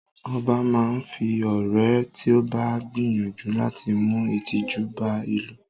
0̣ba máa fi ọ́ ré tí o bá gbìyànjú láti mú ìtìjú bá ìlú.